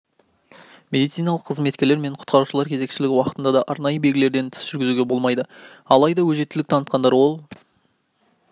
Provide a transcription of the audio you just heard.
медициналық қызметкерлер мен құтқарушылар кезекшілігі уақытында да арнайы белгілерден тыс жүзуге болмайды алайда өжеттілік танытқандар ол